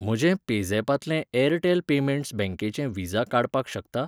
म्हजें पेझॅपांतलें Airtel payments बँकेचें विझा काडपाक शकता?